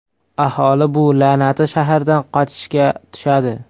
Aholi bu la’nati shahardan qochishga tushadi.